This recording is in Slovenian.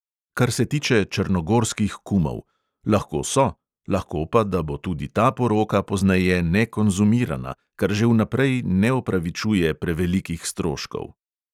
Kar se tiče črnogorskih kumov: lahko so, lahko pa da bo tudi ta poroka pozneje nekonzumirana, kar že vnaprej ne opravičuje prevelikih stroškov.